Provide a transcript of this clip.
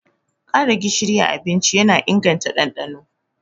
Ƙara gishiri a abinci yana inganta ɗanɗano.